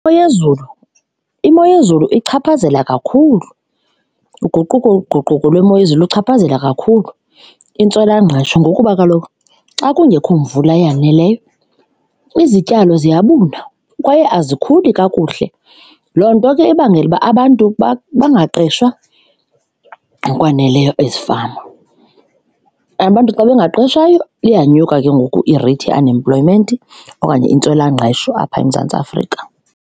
Imo yezulu, imo yezulu ichaphazela kakhulu uguquguquko lwemo yezulu ichaphazela kakhulu intswelangqesho ngokuba kaloku xa kungekho mvula eyaneleyo, izityalo ziyabuna kwaye azikhuli kakuhle, loo nto ke ebangela uba abantu bangaqeshwa ngokwaneleyo ezifama. Abantu xa bengaqeshwayo, iyanyuka ke ngoku ireythi ye-unemployment okanye intswelangqesho apha eMzantsi Afrika.